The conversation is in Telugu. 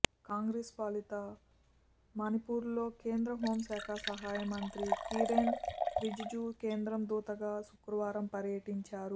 కాంగ్రెస్ పాలిత మణిపూర్లో కేంద్ర హోంశాఖ సహాయ మంత్రి కిరెన్ రిజిజు కేంద్రం దూతగా శుక్రవారం పర్యటించారు